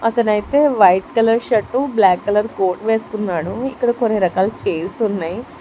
ఇతనైతే white colour shirt black colour coat వేస్కొన్నాడు ఇక్కడ కొన్ని రకాల చైర్స్ ఉన్నాయి.